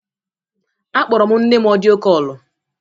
Akpọrọ m nne m ọdịyo kọlu